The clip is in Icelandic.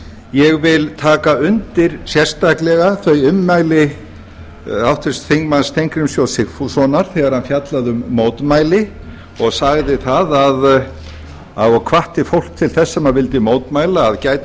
ég vil taka undir sérstaklega þau ummæli háttvirts þingmanns steingríms j sigfússonar þegar hann fjallaði um mótmæli og sagði og hvatti fólk til þess sem vildi mótmæla að gæta